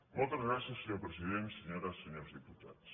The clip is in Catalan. moltes gràcies senyor president senyores i senyors diputats